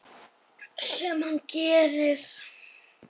Sem hann gerir.